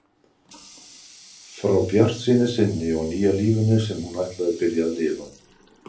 Frá bjartsýni sinni og nýja lífinu sem hún ætli að byrja að lifa.